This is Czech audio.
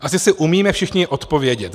Asi si umíme všichni odpovědět.